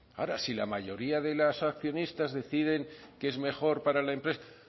ahora si la mayoría de los accionistas deciden que es mejor para la empresa